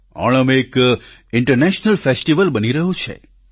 ઓણમ એક international festival બની રહ્યો છે